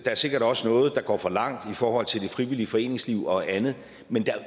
er sikkert også noget der går for langt i forhold til det frivillige foreningsliv og andet men der er